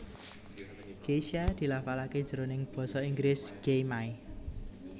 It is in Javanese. Geisha dilafalaké jroning basa Inggris gei may